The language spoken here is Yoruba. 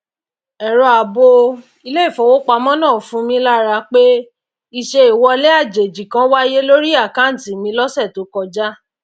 ẹrọ ààbò iléìfowópamọ náà fun mí lára pé ìṣe ìwọlé àjèjì kan wáyé lórí àkántì mi lọsẹ tó kọjá